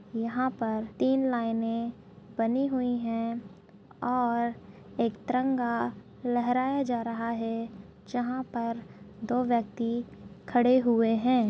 यहाँ पर तीन लाइने बनी हुई हैं और एक तिरंगा लहराया जा रहा है जहाँ पर दो व्यक्ति खड़े हुए हैं।